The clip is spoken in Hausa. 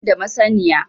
Ban da masaniya